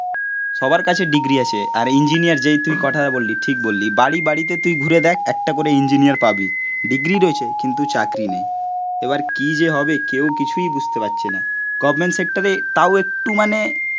সবার কাছে ডিগ্রী আছে, আর ইঞ্জিনিয়ার যেই তুই কথাটা বললি, ঠিক বললি, বাড়ি বাড়িতে তুই ঘুরে দেখ একটা করে ইঞ্জিনিয়ার পাবি, ডিগ্রী রয়েছে, কিন্তু চাকরি নেই এবার কি যে হবে কেউ কিছুই বুঝতে পারছে না গভর্নমেন্ট সেক্টরে তাও একটু মানে